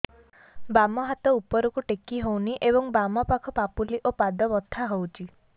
ବାମ ହାତ ଉପରକୁ ଟେକି ହଉନି ଏବଂ ବାମ ପାଖ ପାପୁଲି ଓ ପାଦ ବଥା ହଉଚି